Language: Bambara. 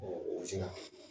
o